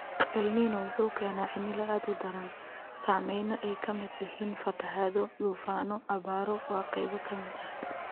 Elnino wuxuu keenaa cimilo aad u daran & saameyno ay ka mid yihiin fatahaado, duufaano & abaaro waa qaybo ka mid ah.